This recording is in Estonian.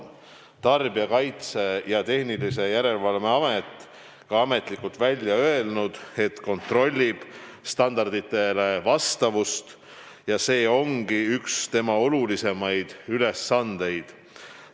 Tarbijakaitse ja Tehnilise Järelevalve Amet on ka ametlikult välja öelnud, et kontrollib standarditele vastavust, ja see ongi üks tema olulisemaid ülesandeid.